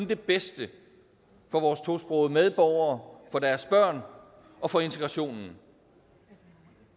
det bedste for vores tosprogede medborgere for deres børn og for integrationen